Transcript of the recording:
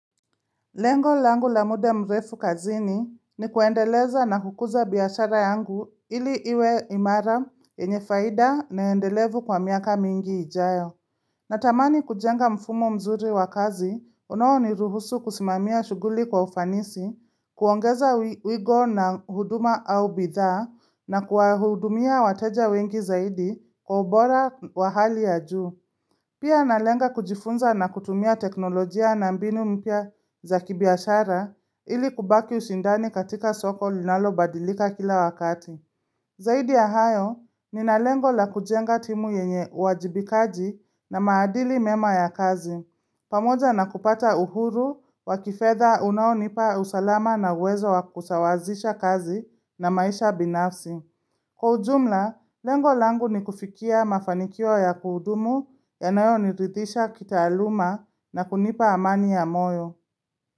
Lengo langu la muda mrefu kazini ni kuendeleza na kukuza biashara yangu ili iwe imara yenyefaida naendelevu kwa miaka mingi ijayo. Natamani kujenga mfumo mzuri wakazi unao ni ruhusu kusimamia shughuli kwa ufanisi, kuongeza wigo na huduma au bidhaa na kuwahudumia wateja wengi zaidi kwa ubora wa hali ya juu. Pia na lenga kujifunza na kutumia teknolojia na mbinu mpya za kibiashara ili kubaki ushindani katika soko linalo badilika kila wakati. Zaidi ya hayo, ni na lengo la kujenga timu yenye uwajibikaji na maadili mema ya kazi. Pamoja na kupata uhuru, wakifedha unaonipa usalama na uwezo wa kusawazisha kazi na maisha binafsi. Kwa ujumla, lengo langu ni kufikia mafanikio ya kudumu ya nayo niridhisha kita aluma na kunipa amani ya moyo.